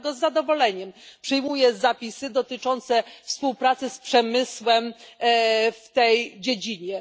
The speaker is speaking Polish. Dlatego z zadowoleniem przyjmuję zapisy dotyczące współpracy z przemysłem w tej dziedzinie.